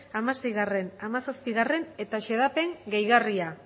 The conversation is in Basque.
hamaseigarrena eta hamazazpigarrena eta xedapen gehigarria